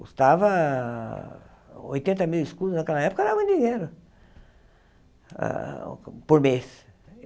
Custava oitenta mil escudos, naquela época era um dinheiro ah por mês.